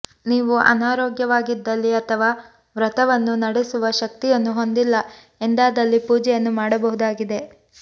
ನೀವು ಅನಾರೋಗ್ಯವಾಗಿದ್ದಲ್ಲಿ ಅಥವಾ ವ್ರತವನ್ನು ನಡೆಸಲು ಶಕ್ತಿಯನ್ನು ಹೊಂದಿಲ್ಲ ಎಂದಾದಲ್ಲಿ ಪೂಜೆಯನ್ನು ಮಾಡಬಹುದಾಗಿದೆ